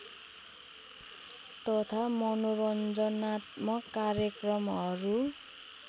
तथा मनोरञ्जनात्मक कार्यक्रमहरू